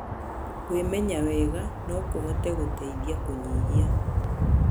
Kwĩmenya wega no kũhote gũteithia kũnyihia